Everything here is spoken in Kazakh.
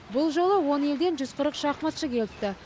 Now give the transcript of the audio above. бұл жолы он елден жүз қырық шахматшы келіпті